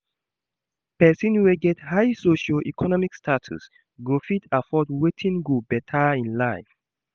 Persin wey get high socio-economic status go fit afford wetin go better im life